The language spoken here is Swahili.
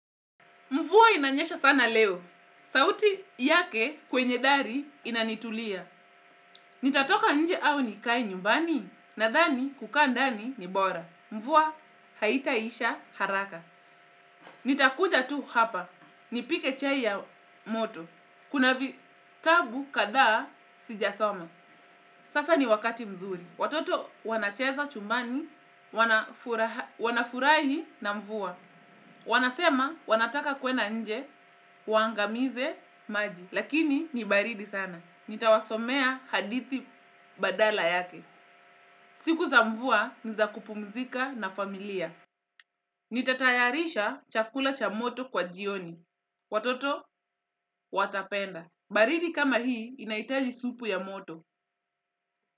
Mvua inanyesha sana leo. Sauti yake kwenye dari inanitulia. Nitatoka nje au nikae nyumbani nadhani kukaa ndani ni bora. Mvua haitaisha haraka. Nitakuja tu hapa. Nipike chai ya moto. Kuna vitabu kadhaa sijasoma. Sasa ni wakati mzuri. Watoto wanacheza chumbani. Wanafurahi na mvua. Wanasema wanataka kwenda nje, waangamize maji. Lakini ni baridi sana. Nitawasomea hadithi badala yake. Siku za mvua ni za kupumzika na familia. Nitatayarisha chakula cha moto kwa jioni. Watoto, watapenda. Baridi kama hii inahitaji supu ya moto.